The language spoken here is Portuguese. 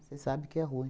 Você sabe que é ruim.